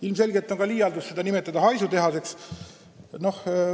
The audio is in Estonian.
Ilmselgelt on liialdus ka selle nimetamine haisutehaseks.